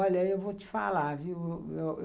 Olha, eu vou te falar viu